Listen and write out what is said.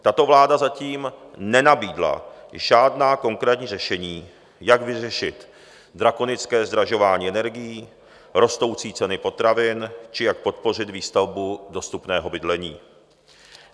Tato vláda zatím nenabídla žádná konkrétní řešení, jak vyřešit drakonické zdražování energií, rostoucí ceny potravin či jak podpořit výstavbu dostupného bydlení.